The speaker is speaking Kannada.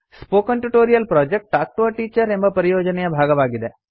spoken tutorial project talk to a teacher ಎಂಬ ಪರಿಯೋಜನೆಯ ಭಾಗವಾಗಿದೆ